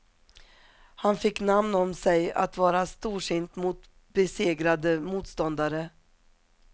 Han fick namn om sig att vara storsint mot besegrade motståndare.